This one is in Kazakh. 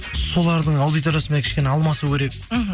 солардың аудиториясымен кішкене алмасу керек мхм